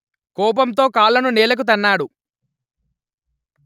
కోపంతో కాళ్ళను నేలకు తన్నాడు